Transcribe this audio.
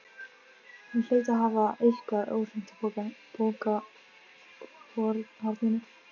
Hann hlaut að hafa eitthvað óhreint í pokahorninu.